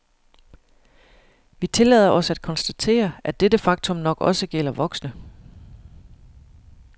Vi tillader os at konstatere, at dette faktum nok også gælder voksne.